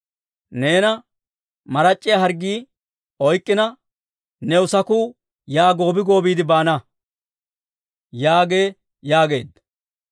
Neena marac'c'iyaa harggii oyk'k'ina, new saku yaa goobi goobiide baana› yaagee» yaageedda.